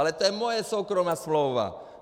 Ale to je moje soukromá smlouva.